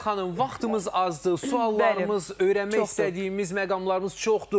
Günel xanım, vaxtımız azdır, suallarımız, öyrənmək istədiyimiz məqamlarımız çoxdur.